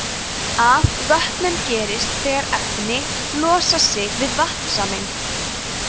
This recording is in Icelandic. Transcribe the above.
afvötnun gerist þegar efni losa sig við vatnssameind